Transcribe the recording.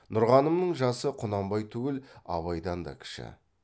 нұрғанымның жасы құнанбай түгіл абайдан да кіші